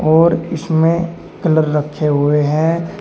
और इसमें कलर रखे हुए हैं।